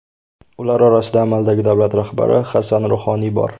Ular orasida amaldagi davlat rahbari Hasan Ruhoniy bor.